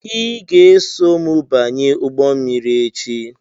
Ị ga-eso m banye ụgbọ mmiri echi!